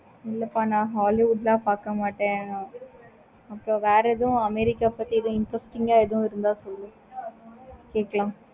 இல்லப்பா நா hollywood ல பார்க்க மாட்டான். அப்ப வேற ஏதும் america ஆஹ் பத்தி interesting ஆஹ் இருந்த சொல்லுங்க. கேட்கலாம்.